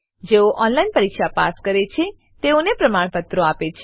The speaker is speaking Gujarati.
જેઓ ઓનલાઈન પરીક્ષા પાસ કરે છે તેઓને પ્રમાણપત્રો આપે છે